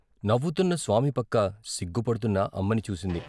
నవ్వుతున్న స్వామి పక్క సిగ్గుపడుతున్న అమ్మని చూసింది.